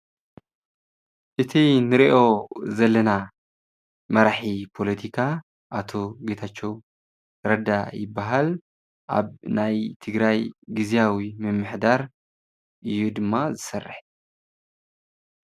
እቲ እንሪኦ ዘለና መራሒ ፖለቲካ ኣቶ ጌታቸው ረዳ ይባሃል፡፡ ኣብ ናይ ትግራይ ግዚያዊ ምምሕዳር እዩ ድማ ዝሰርሕ፡፡